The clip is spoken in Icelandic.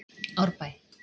Árbæ